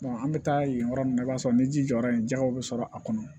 an bɛ taa yen yɔrɔ min na i b'a sɔrɔ ni ji jɔra yen jɛgɛw bɛ sɔrɔ a kɔnɔ